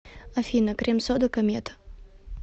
афина крим сода комета